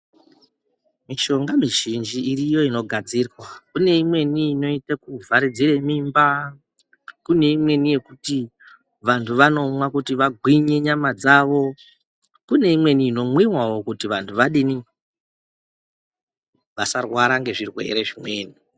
Mishonga mizhinji iriyo inogadzirwa. Kune imweni inoite kuvharidzira mimba. Kune imweni yekuti vantu vanomwa kuti vagwinyi nyama dzawo. Kune imweni inomwiwawo kuti vanhtu vadini, vasarwara ngezvirwere zvimweni.